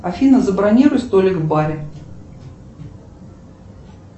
афина забронируй столик в баре